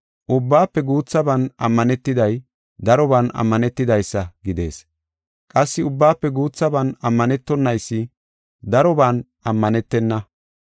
Ubbaafe guuthaban ammanetiday daroban ammanetidaysa gidees. Qassi ubbaafe guuthaban ammanetonaysi daroban ammanetena.